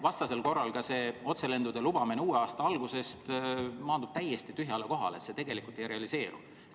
Vastasel korral otselendude lubamine uue aasta algusest maandub täiesti tühjale kohale, see tegelikult ei realiseeru.